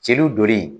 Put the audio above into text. Jeliw donni